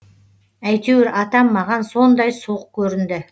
әйтеуір атам маған сондай суық көрінді